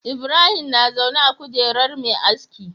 Ibrahim na zaune a kujerar Me aski